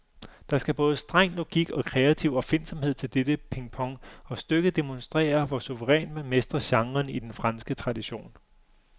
Der skal både streng logik og kreativ opfindsomhed til dette pingpong, og stykket demonstrerer, hvor suverænt man mestrer genren i den franske tradition.